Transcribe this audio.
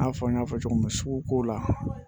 I n'a fɔ n y'a fɔ cogo min na suguko la